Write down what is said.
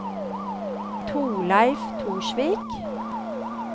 Thorleif Torsvik